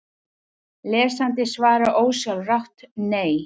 Lesandinn svarar ósjálfrátt: Nei!